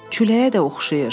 Küləyə də oxşayır.